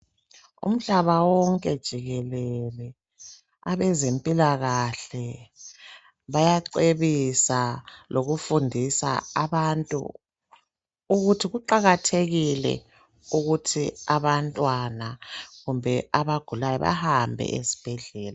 Umhlaba wonke jikelele abezempilakahle bayacebisa lokufundisa abantu ukuthi kuqakathekile ukuthi abantwana kumbe abagulayo bahambe esibhedlela.